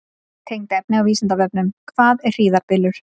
Tengt efni á Vísindavefnum: Hvað er hríðarbylur?